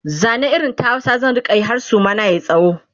Zane irin ta Hausa zan rinka Yi har Suma na yayi tsawo